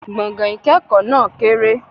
Gbọ̀gán-ìkẹ́kọ náà kéré